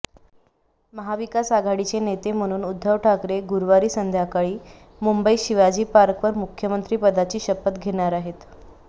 महाविकास आघाडीचे नेते म्हणून उद्धव ठाकरे गुरुवारी संध्याकाळी मुंबईत शिवाजी पार्कवर मुख्यमंत्रीपदाची शपथ घेणार आहेत